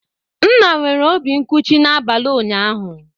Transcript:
Nna nwere obi nkụchi n'abalị ụnyaahụ.